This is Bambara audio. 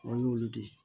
O y'olu de ye